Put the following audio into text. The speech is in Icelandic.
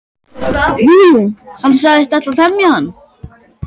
Jú, jú, hann sagðist ætla að temja hann.